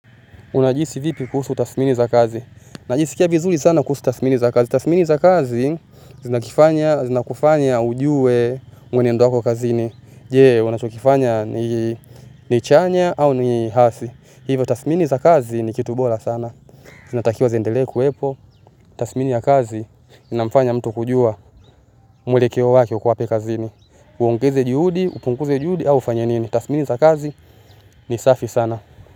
Unajihisi vipi kuhusu tasmini za kazi najisikia vizuri sana kuhusu tasmini za kazi tasmini za kazi zinakufanya ujue mwenendo wako kazini je unachokifanya ni chanya au ni hasi hivyo tasmini za kazi ni kitu bora sana zinatakiwa ziendelee kuwepo tasmini ya kazi inamfanya mtu kujua mwelekeo wake uko wapi kazini uongeze juhudi upunguze juhudi au ufanye nini. Tasmini za kazi ni safi sana.